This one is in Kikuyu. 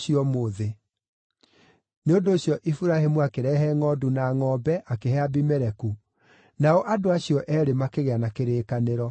Nĩ ũndũ ũcio Iburahĩmu akĩrehe ngʼondu na ngʼombe akĩhe Abimeleku, nao andũ acio eerĩ makĩgĩa na kĩrĩkanĩro.